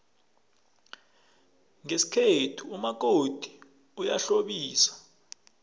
ngesikhethu umakoti uyahlambisa